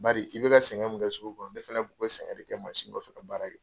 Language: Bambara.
Bari i bɛ ka sɛgɛn min kɛ sugu kɔnɔ, ne fana tun bɛ sɛgɛn in kɛ masin kɔfɛ ka baara ye